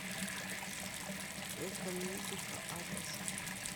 экомедика адрес